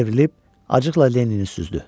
Çevrilib, acıqla Lennini süzdü.